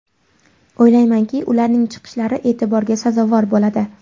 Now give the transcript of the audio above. O‘ylaymanki, ularning chiqishlari e’tiborga sazovor bo‘ladi.